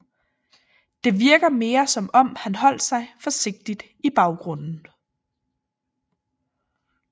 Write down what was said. Det virker mere som om han holdt sig forsigtigt i baggrunden